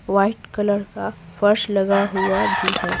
White colour का फर्श लगा हुआ भी है।